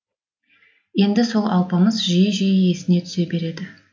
енді сол алпамыс жиі жиі есіне түсе береді